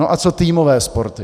No a co týmové sporty?